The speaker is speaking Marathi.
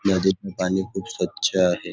नदीतलं पाणी खुप स्वच्छ आहे.